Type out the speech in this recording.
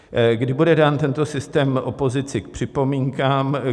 Kdy bude dán tento systém opozici k připomínkám?